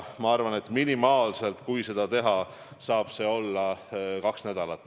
Ma arvan, et kui seda teha, siis minimaalselt saab see olla kaks nädalat.